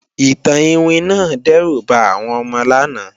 Ìtàn iwin náà dẹ́rù ba àwọn ọmọ lánàá